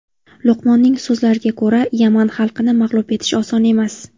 Luqmonning so‘zlariga ko‘ra, Yaman xalqini mag‘lub etish oson emas.